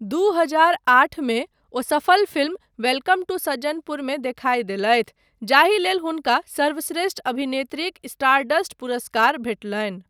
दू हजार आठ मे, ओ सफल फिल्म वेलकम टू सज्जनपुर मे देखाय देलथि, जाहिलेल हुनका सर्वश्रेष्ठ अभिनेत्रीक स्टारडस्ट पुरस्कार भेटलनि।